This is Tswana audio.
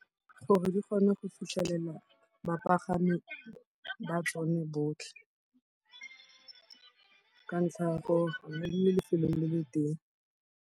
Gore di kgone go fitlhelela bapagami ba tsone botlhe ka ntlha ya gore lefelo le le teng.